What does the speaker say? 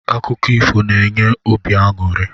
Akụkọ ifo na-enye obi anụri.